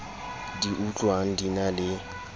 di utlwang di na le